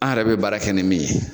An yɛrɛ bɛ baara kɛ ni min ye